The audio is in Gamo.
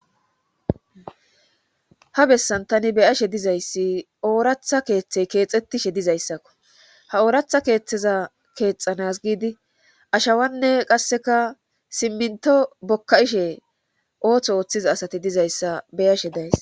ha bessan tani be'ashe dizayssi ooratha keeththey keexxetishe dizayssakko ha ooratha keeththeza keexanas giidi ashawanne qasseka simminto bokka7ishe ooththo ooththiza asati dizayssa beyashe days